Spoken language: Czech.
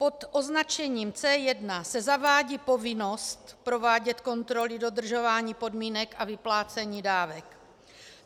Pod označením C1 se zavádí povinnost provádět kontroly dodržování podmínek pro vyplácení dávek.